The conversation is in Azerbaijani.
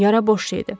Yara boş şeydir.